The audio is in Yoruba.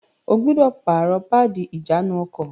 O gbúdọ̀ pààrọ̀ páàdì ìjánu-ọkọ̀!